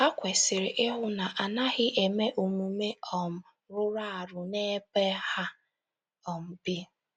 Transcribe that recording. Ha kwesịrị ịhụ na a naghị eme omume um rụrụ arụ n’ebe ha um bi.